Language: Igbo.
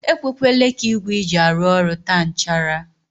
E kwekwele ka igwe i ji arụ ọrụ taa nchara.